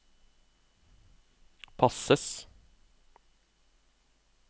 passes